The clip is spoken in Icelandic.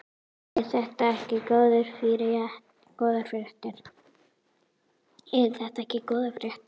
Eru þetta góðar fréttir?